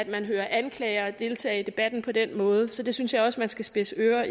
man hører anklagere deltage i debatten på den måde så der synes jeg også man skal spidse ører